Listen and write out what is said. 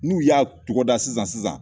N'u y'a tɔgɔda sisan sisan